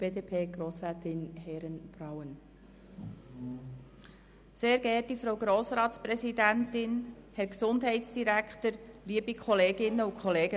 Übertreiben wir es nicht, schliesslich wollen wir das Gesetz heute zu Ende beraten.